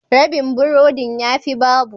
Rabin burodin ya fi babu.